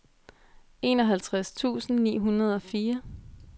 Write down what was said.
enoghalvtreds tusind ni hundrede og fire